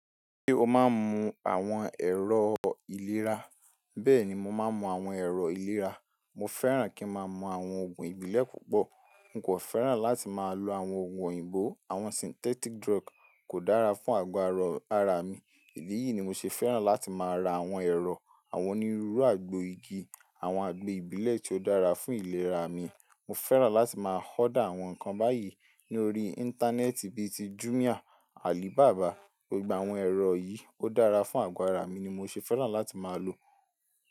Ṣé o máa ń mu àwọn ẹ̀rọ ìlera? Bẹ́ẹ̀ni, mo máa ń mu àwọn ẹ̀rọ ìlera. Mo fẹ́ràn kí ń máa mu àwọn ògùn ìbílẹ̀ púpọ̀. N kò fẹ́ràn láti máa lo àwọn ògùn òyìnbó, àwọn synthetic drug kò dára fún àgọ́ ara mi. Ìdí yìí ni mo ṣe fẹ́ràn láti máa ra àwọn ẹ̀rọ, àwọn onírúurú àgbo igi, àwọn àgbo ìbílẹ̀ tí ó dára fún ìlera mi. Mo fẹ́ràn láti máa order àwọn nǹkan báyìí ní orí íńtánẹ́ẹ̀tì bí i ti Jumia, Alibaba. Gbogbo àwọn ẹ̀rọ yìí ó dára fún àgọ́ ara mi ni mo ṣe fẹ́ràn láti máa lo.